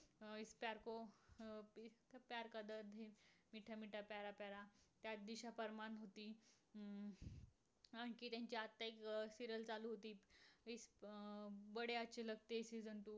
त्यात दिशा परमार होती. हम्म आणखी त्यांची आत्ता एक serial चालू होती. season two